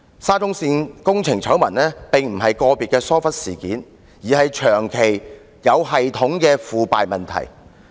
沙中線工程醜聞顯然並非個別的疏忽事件，而是長期、有系統的腐敗問題。